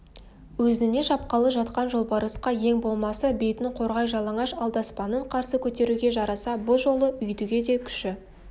өзіне шапқалы жатқан жолбарысқа ең болмаса бетін қорғай жалаңаш алдаспанын қарсы көтеруге жараса бұ жолы өйтуге де күші